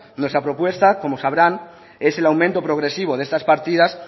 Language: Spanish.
nuestra propuesta como sabrán es el aumento progresivo de estas partidas